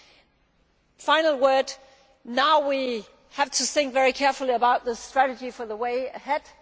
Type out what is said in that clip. A final word. Now we have to think very carefully about the strategy for the way ahead.